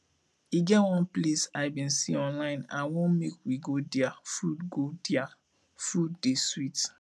e get one place i bin see online i wan make we go dia food go dia food dey sweet